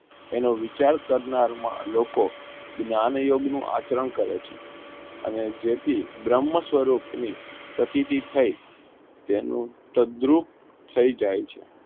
તેનો વિચાર કરનાર લોકો જ્ઞાંગ યોગ નું આચરણ કરે છે અને જેથી બ્રહ્મ સ્વરૂપ ની અતિથિ થઇ તેનું કેન્દ્રુપ થઇ જય છે.